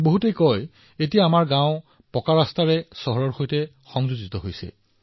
বহুলোকে কয় যে আমাৰ গাওঁখন এতিয়া এটা পকী ৰাস্তাৰে চহৰখনৰ সৈতে সংযুক্ত হৈ আছে